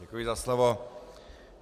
Děkuji za slovo.